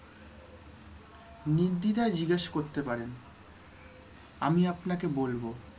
নির্দ্বিধায় জিজ্ঞেস করতে পারেন আমি আপনাকে বলব।